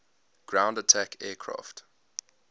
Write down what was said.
ground attack aircraft